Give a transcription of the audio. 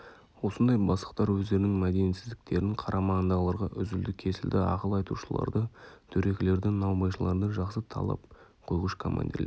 осындай бастықтар өздерінің мәдениетсіздіктерін қарамағындағыларға үзілді-кесілді ақыл айтушыларды дөрекілерді наубайшыларды жақсы талап қойғыш командирлер